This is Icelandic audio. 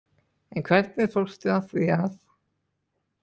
En hvernig fórstu að því að